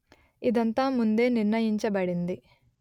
ఇదంతా ముందే నిర్ణయించబడింది